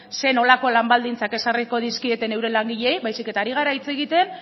zer nolako lan baldintzak ezarriko dizkieten euren langileei baizik eta ari gara hitz egiten